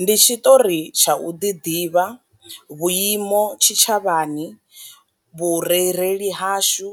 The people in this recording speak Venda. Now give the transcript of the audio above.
Ndi tshiṱori tsha u ḓi ḓivha, vhuimo tshi tshavhani, vhurereli hashu